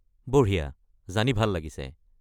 বঢ়িয়া! জানি ভাল লাগিছে।